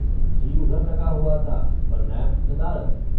जी उधर लगा हुआ था पर लैम्प नदारद।